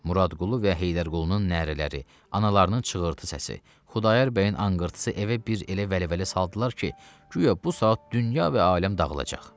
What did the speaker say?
Muradqulu və Heydərqulunun nərələri, analarının çığırtı səsi, Xudayar bəyin anqırtısı evə bir elə vəlvələ saldılar ki, guya bu saat dünya və aləm dağılacaq.